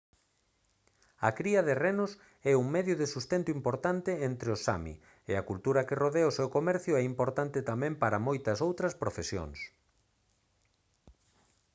a cría de renos é un medio de sustento importante entre os sámi e a cultura que rodea o seu comercio é importante tamén para moitas outras profesións